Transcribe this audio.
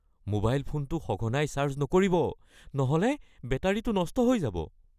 Mobile ফোনটো সঘনাই charge নকৰিব নহ’লে বেটাৰীটো নষ্ট হৈ যাব।